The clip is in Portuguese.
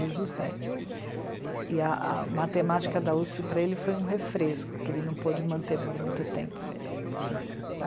Desde os dez, e a, a matemática da USP para ele foi um refresco, que ele não pôde manter por muito tempo mesmo.